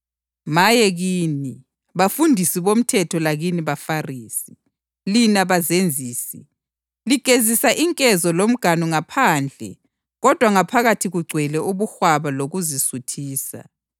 Maye kini, bafundisi bomthetho lakini baFarisi, lina bazenzisi! Ligezisa inkezo lomganu ngaphandle kodwa ngaphakathi kugcwele ubuhwaba lokuzisuthisa.